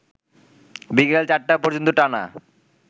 বিকেল ৪টা পর্যন্ত টানা